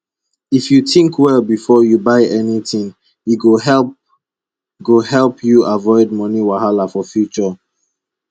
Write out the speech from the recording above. if you think well before you buy anything e go help go help you avoid moni wahala for future